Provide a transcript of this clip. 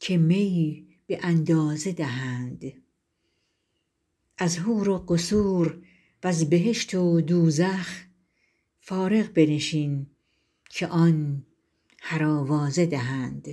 که می به اندازه دهند از حور و قصور و ز بهشت و دوزخ فارغ بنشین که آن هر آوازه دهند